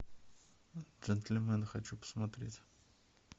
джентельмены хочу посмотреть